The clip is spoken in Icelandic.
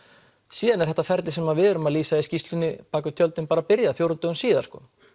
síðan er þetta ferli sem við erum að lýsa í skýrslunni bak við tjöldin byrjað fjórum dögum síðar